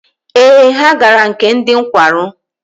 Ee, ha gara nke ndị nkwarụ.